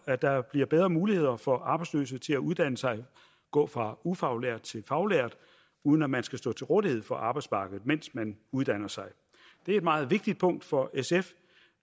at der bliver bedre muligheder for arbejdsløse til at uddanne sig gå fra ufaglært til faglært uden at man skal stå til rådighed for arbejdsmarkedet mens man uddanner sig det er et meget vigtigt punkt for sf